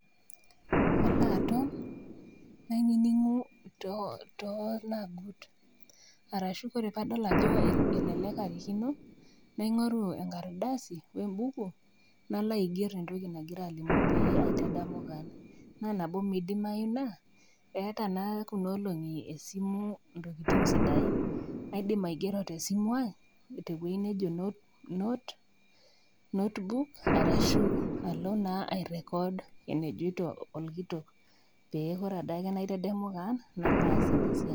Alo aton nainingu to tolakut arashu tanadol ajo elelek arikino, naingoru enkardasi wembuku naiger entoki nagira alimu paitadamu kewon amu indimai naa eeta kunoolongi esimu ntokitin sidain naidil aigo tesimu aai note notebook arashu alo ai record enejoito paitadamu kewon nalo aas ina siai.